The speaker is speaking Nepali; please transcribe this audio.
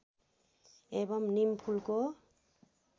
एवं नीम फूलको